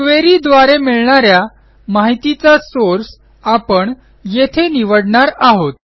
query द्वारे मिळणा या माहितीचा सोर्स आपण येथे निवडणार आहोत